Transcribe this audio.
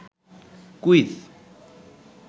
quiz